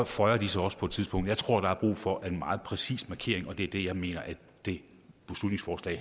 føjer de sig også på et tidspunkt jeg tror at der er brug for en meget præcis markering og det er det jeg mener det